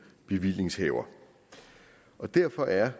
bevillingshaver derfor er